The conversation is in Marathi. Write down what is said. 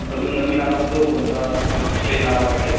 अजून नवीन आला न तो कोणता strain आला वाटते.